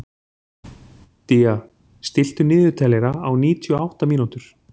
Día, stilltu niðurteljara á níutíu og átta mínútur.